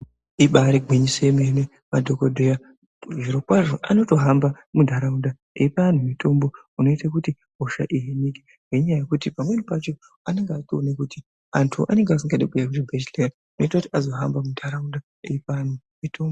Ibaari gwinyiso remene madhokodheya zviro kwazvo vanotohamba munharaunda veipe antu mitombo inoita kuti hosha dzihinike ngenyaya yekuti pamweni pacho vanenge vechitoona kuti vantu vanenge vasingadi kuuya kuchibhedhlera zvinoita kuti vazohamba munharaunda veipe vantu mitombo.